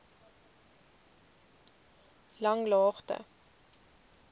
langlaagte